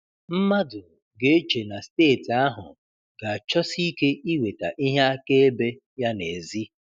Mmadụ ga-eche na steeti ahụ ga-achọsi ike iweta ihe akaebe ya n'èzí.